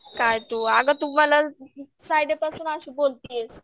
काय तू अगं तू मला फ्रायडे पासून अशी बोलतीयेस.